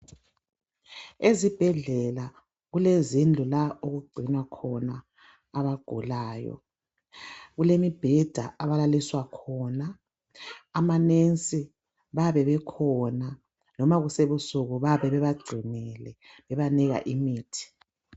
Ezibhedlela kulezindlu la okugcinwa khona abagulayo, kulemibheda abalaliswa khona. Amanensi bayabe bekhona loba kusebusuku bayabe bebagcinile bebanika imithi.